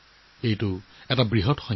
এইটো ডাঙৰ সংখ্যা